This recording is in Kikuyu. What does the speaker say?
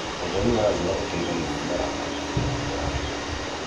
ũtheri wa riuwa ũteithagia mũmera wa nyanya gũkũra wega